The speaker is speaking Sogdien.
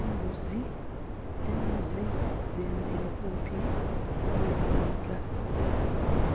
Embuzi, embuzi dhemereire kumpi no mwiga